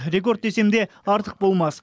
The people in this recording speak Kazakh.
рекорд десем де артық болмас